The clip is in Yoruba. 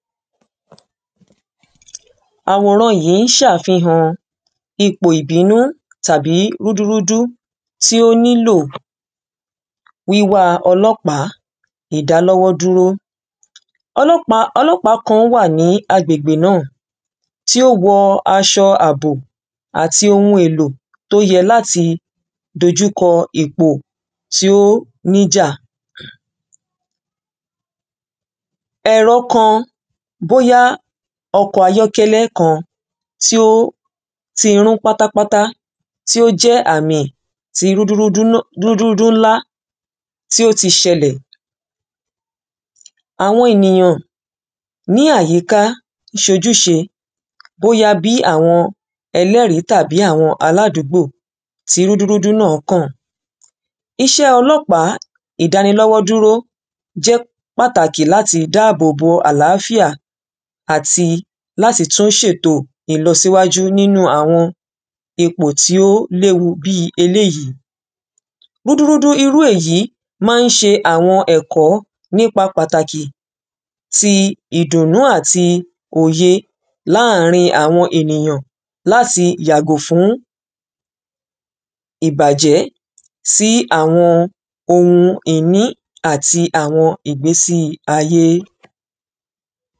àwòran yìí ṣàfihàn ipò ìbínú tàbí rúdú rúdú tí ó nílò wíwáa ọlọ́pàá ìdá lọ́wọ́ dúró ọlọ́pàá ọlọ́pàá kan wà ní agbègbè náà tí ó wọ aṣọ àbò àtī ohun èlò tí ó yẹ látī dojúkọ ipò tí ó níjà ẹ̀rọ kan bóyá ọkọ̀ ayọ́kẹ́lẹ́ kan tí ó ti rún pátá pátá tí ó jẹ́ àmì tí rúdú rúdú rúdú rúdú ńlá tí ó tí ṣẹlẹ̀ àwọn ènìyàn ní àyíká ṣojúṣe bóyá bí àwọn ẹlẹ́rìí tàbí àwọn aláàdúgbò tí rúdú rúdú náà kàn iṣẹ́ ọlọ́pàá ìdánilọ́wọ́ dúró jẹ́ pàtàkì láti dáábòbò àlàáfíà àti láti tún ṣètò ìlosíwájú nínú àwọn ipò tí ó léwu bíi eléyìí rúdú rúdú irū èyí má ń ṣe àwọn ẹ̀kọ́ nípa pàtàkì ti idùǹnù àtī òyē láàrin àwọn ènìyàn láti yàgò fún ìbàjẹ́ sí àwọn oun ìní àti àwọn ìgbesi ayé